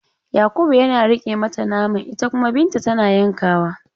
Yakubu yana riƙe mata naman ita kuma Binta tana yankawa.